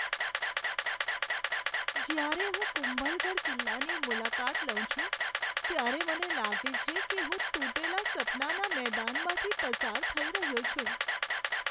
જ્યારે હું કુંભલગઢ કિલ્લાની મુલાકાત લઉં છું ત્યારે મને લાગે છે કે હું તૂટેલા સપનાના મેદાનમાંથી પસાર થઈ રહ્યો છું.